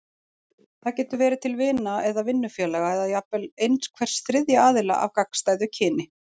Það getur verið til vina eða vinnufélaga, eða jafnvel einhvers þriðja aðila af gagnstæðu kyni.